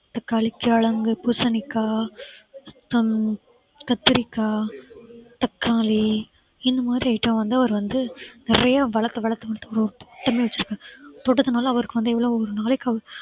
தக்காளி, கிழங்கு, பூசணிக்காய் ஹம் கத்தரிக்காய், தக்காளி இந்த மாதிரி item வந்து அவர் வந்து நிறைய வளர்த்து வளர்த்து ஒரு தோட்டமே வெச்சிருக்காரு தோட்டத்தினால அவருக்கு வந்து எவ்வளவு ஒரு நாளைக்கு அவர்